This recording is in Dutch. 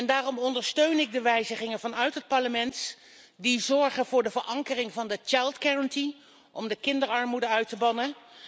Daarom ondersteun ik de wijzigingen vanuit het Parlement die zorgen voor de verankering van de kindergarantie om kinderarmoede uit te bannen.